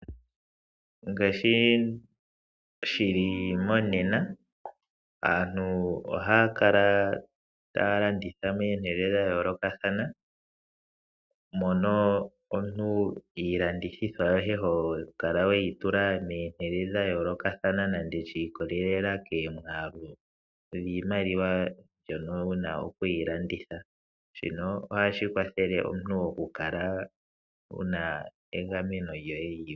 Ngaashi shili monena aantu ohaya kala taya landitha pomahala gayoolokathana mono omuntu iilandithwa yoye hokala weyitula momahala gayoolokathana nande shiikolelela komwaalu niimaliwa mbyono wuna okuyilanditha shini otashi kwathele omuntu okukala wuna egameno lyoye.